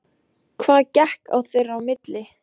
Hvað gekk á þeirra á milli?